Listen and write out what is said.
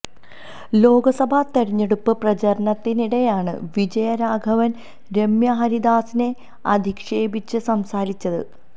ലോക്സഭാ തിരഞ്ഞെടുപ്പ് പ്രചാരണത്തിനിടെയാണ് വിജയരാഘവന് രമ്യ ഹരിദാസിനെ അധിക്ഷേപിച്ച് സംസാരിച്ചത്